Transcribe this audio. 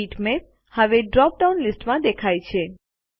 bitmap હવે drop down લીસ્ટમાં દેખાય છે